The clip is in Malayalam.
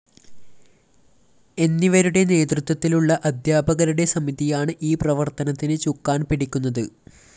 എന്നിവരുടെ നേതൃത്വത്തിലുള്ള അദ്ധ്യാപകരുടെ സമിതിയാണ് ഈ പ്രവര്‍ത്തനത്തിന് ചുക്കാന്‍ പിടിക്കുന്നത്